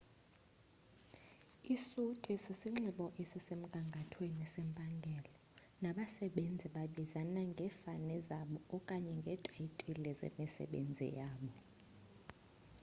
isuti sisinxibo esisemgangathweni sempangelo nabasebenzi babizana ngefani zabo okanye ngeetaytile zemisebenzi yabo